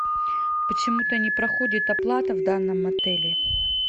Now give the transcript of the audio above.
почему то не проходит оплата в данном отеле